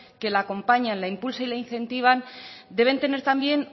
que la acompañan la impulsa y la incentivan deben tener también